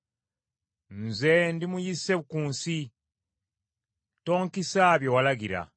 Nze ndi muyise ku nsi; tonkisa bye walagira.